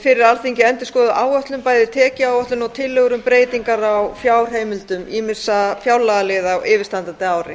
fyrir alþingi endurskoðuð áætlun bæði tekjuáætlun og tillögur um breytingar á fjárheimildum ýmissa fjárlagaliða á yfirstandandi ári